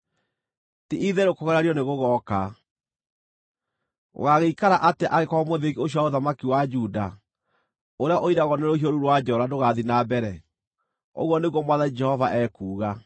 “ ‘Ti-itherũ kũgeranio nĩgũgooka. Gũgaagĩikara atĩa angĩkorwo mũthĩgi ũcio wa ũthamaki wa Juda, ũrĩa ũiragwo nĩ rũhiũ rũu rwa njora ndũgathiĩ na mbere? Ũguo nĩguo Mwathani Jehova ekuuga.’